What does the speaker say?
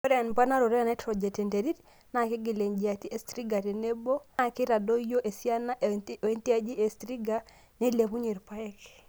ore emponaroto e nitrogen te nterit naa keigial ejiati e striga tenebo naa neitadoyio esiana e o ejiati e striga nailepunye irpaek